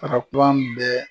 Taga kuran bɛɛ